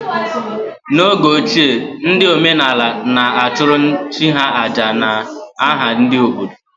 N’oge ochie, ndị omenaala na-achụrụ chi ha àjà n’aha ndị obodo